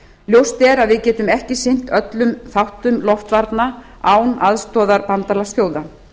ljóst er að við getum ekki sinnt öllum þáttum loftvarna án aðstoðar bandalagsþjóða